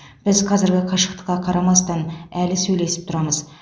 біз қазіргі қашықтыққа қарамастан әлі сөйлесіп тұрамыз